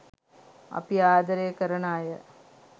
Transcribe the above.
අපි ආදරය කරන අය